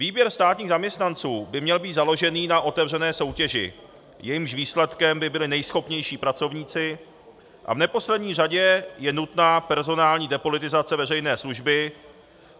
Výběr státních zaměstnanců by měl být založený na otevřené soutěži, jejímž výsledkem by byli nejschopnější pracovníci, a v neposlední řadě je nutná personální depolitizace veřejné služby;